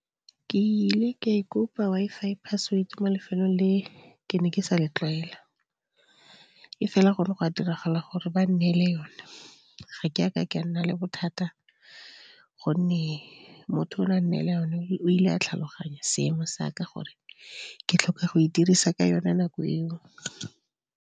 Ke ile ka e kopa Wi-Fi password mo lefelong le ke ne ke sa le tlwaela. E fela go ne go a diragala gore ba nnele yone. Ga ke a ke ka nna le bothata, gonne motho o ne a nnela yone o ile a tlhaloganya seemo sa ka, gore ke tlhoka go e dirisa ka yone nako eo.